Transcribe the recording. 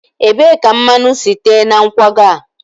ebee ka mmanụ si tee na nkwago a?